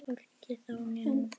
Hvorki þá né nú.